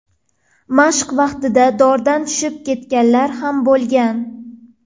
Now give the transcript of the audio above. Mashq vaqtida dordan tushib ketganlar ham bo‘lgan .